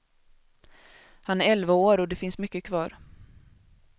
Han är elva år och det finns mycket kvar.